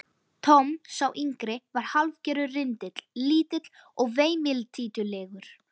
Tom, sá yngri, var hálfgerður rindill, lítill og veimiltítulegur.